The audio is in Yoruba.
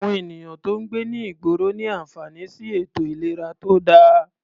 Àwọn ènìyàn tó ń gbé ní ìgboro ní àǹfààní sí ètò ìlera tó dáa.